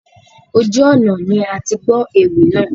Ojú ọnà ni atigbọ́ ewì náà.